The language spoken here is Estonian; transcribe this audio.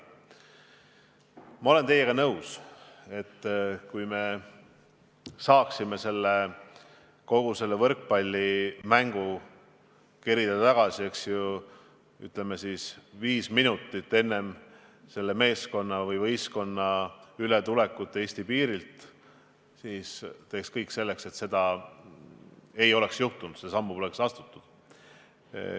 Ma olen teiega nõus, et kui saaksime kogu selle võrkpallimängu juhtumi kerida ajas tagasi viis minutit varasemasse hetke, enne kui see võistkond üle Eesti piiri tuli, siis teeksime kõik selleks, et seda poleks juhtunud, seda sammu poleks astutud.